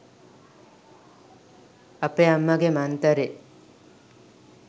අපේ අම්මගෙ මන්තරේ